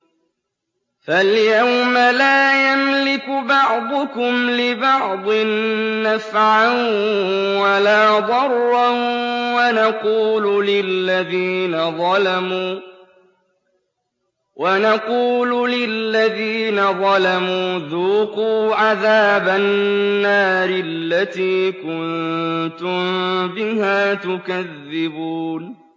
فَالْيَوْمَ لَا يَمْلِكُ بَعْضُكُمْ لِبَعْضٍ نَّفْعًا وَلَا ضَرًّا وَنَقُولُ لِلَّذِينَ ظَلَمُوا ذُوقُوا عَذَابَ النَّارِ الَّتِي كُنتُم بِهَا تُكَذِّبُونَ